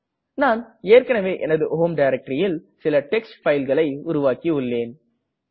நான் ஏற்கனவே எனது ஹோம் directoryல் சில டெக்ஸ்ட் பைல் களை உருவாக்கியுள்ளேன்